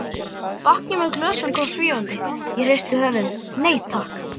Bakki með glösum kom svífandi, ég hristi höfuðið, nei takk.